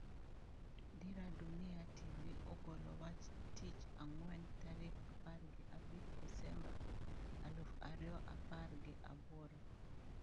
Dira Dunia TV ogolo wach tich ang'wen tarik apar gi abich desemba aluf ariyoapar gi aboro